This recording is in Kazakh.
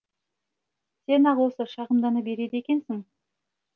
сен ақ осы шағымдана береді екенсің